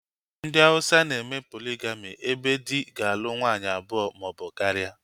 Ndị Hauwsa na-eme poligami ebe dị ga-alụ nwaanyị abụọ maọbụ karịa